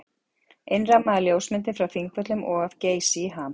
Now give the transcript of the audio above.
Innrammaðar ljósmyndir frá Þingvöllum og af Geysi í ham.